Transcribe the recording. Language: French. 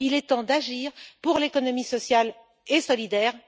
Il est temps d'agir pour l'économie sociale et solidaire.